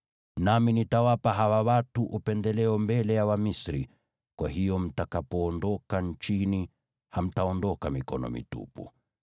“Nami nitawapa hawa watu upendeleo mbele ya Wamisri, kwa hiyo mtakapoondoka nchini hamtaondoka mikono mitupu.